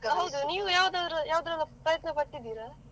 ಹೌದು ನೀವು ಯಾವುದಲ್ಲಾದರೂ ಪ್ರಯತ್ನ ಪಟ್ಟಿದ್ದೀರಾ?